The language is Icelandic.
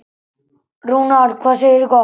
Rúnar, hvað segirðu gott?